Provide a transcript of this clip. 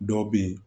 Dɔw bɛ yen